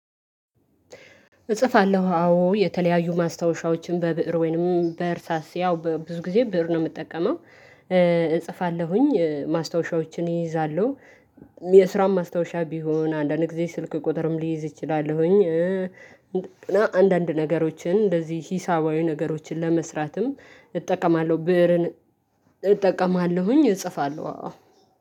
እጽፋለሁ አዎ የተለያዩ ማስታወሻዎችን በብእር ወይንም በእርሳስ ያው ብዙ ጊዜ ብእር ነው የምጠቀመው። እጽፋለሁኝ ማስታወሻዎችን እይዛለሁ የስራውን ማስታወሻ ቢሆን አንዳንድ ጊዜ ስልክ ቁጥርም ሊይዝ እችላለሁኝ። እና አንዳንድ ነገሮችን እንደዚህ ሂሳባዊ ነገሮችን ለመስራትም እጠቀማለሁ ብእርን እጠቀማለሁኝ እጽፋለሁ አዎ